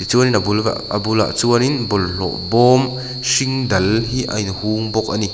chuanin a bul a bulah chuan in bawlhlawh bawm hring dal hi a in hung bawk ani.